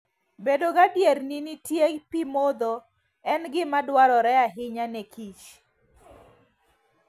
Bedo gadier ni nitie pi modho en gima dwarore ahinya ne kich.